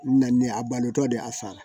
Na ne a balotɔ de a sara